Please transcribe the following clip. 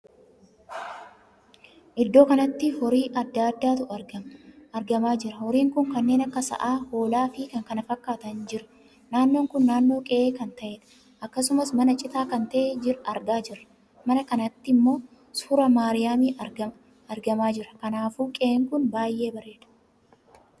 Iddoo kanatti horii addaa addaatu argamaa jira. horiin kun kanneen akka sa'a, hoolaa fi kan kana fakkaatan jira. naannoo kun naannoo qe'ee kan taheedha. akkasumas mana citaa kan tahee argaa jirra. mana kanatti ammoo suuraa maariyaam argamaa jira. kanaafuu qe'ee kun baay'ee bareeda!